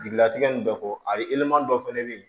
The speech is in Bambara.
Jigilatigɛ nin bɛɛ fɔ a ye dɔ fɛnɛ bɛ yen